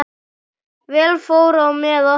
Vel fór á með okkur.